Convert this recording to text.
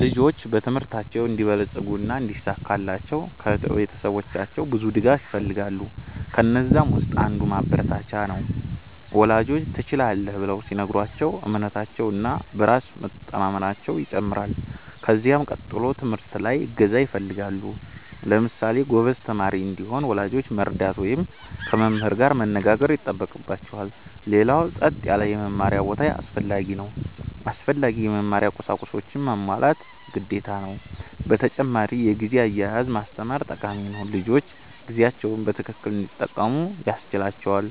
ልጆች በትምህርታቸው እንዲበለጽጉ እና እንዲሳካላቸው ከቤተሰባቸው ብዙ ድጋፍ ይፈልጋሉ። ከነዛም ውስጥ አንዱ ማበረታቻ ነው፤ ወላጆች “ትችላለህ” ብለው ሲነግሯቸው እምነታቸው እና በራስ መቸማመናየው ይጨምራል። ከዚያ ቀጥሎ ትምህርት ላይ እገዛ ይፈልጋሉ። ለምሳሌ ጎበዝ ተማሪ እንዲሆን ወላጆች መርዳት ወይም ከመምህር ጋር መነጋገር ይጠበቅባቸዋል። ሌላው ጸጥ ያለ የመማሪያ ቦታ አስፈላጊ ነው። አስፈላጊ የመማሪያ ቁሳቁሶችንም ማሟላት ግዴታ ነው። በተጨማሪ የጊዜ አያያዝ ማስተማር ጠቃሚ ነው፤ ልጆች ጊዜያቸውን በትክክል እንዲጠቀሙ ያስችላቸዋል።